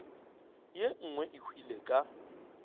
ye nngwe e hwile ka